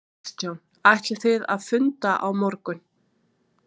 Kristján: Ætlið þið að funda á morgun?